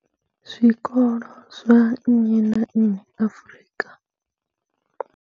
Zwikolo zwa nnyi na nnyi Afrika.